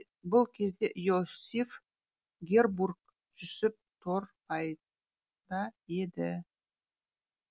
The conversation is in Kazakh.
бұл кезде иосиф гербурт жүсіп торғайда еді